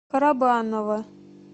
карабаново